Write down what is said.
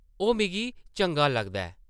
ओह् मिगी चंगा लगदा ऐ ।